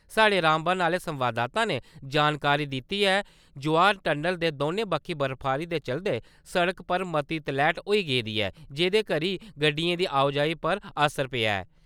साढ़े रामबन आह्‌ले संवाददाता ने जानकारी दित्ती ऐ जे जवाहर टनल दे दौनें बक्खी बर्फबारी दे चलदे सड़कै पर मती तलैट होई गेदी ऐ जेह्दे करी गड्डियें दी आओ-जाई पर असर पेआ ऐ।